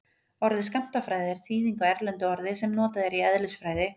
orðið skammtafræði er þýðing á erlendu orði sem notað er í eðlisfræði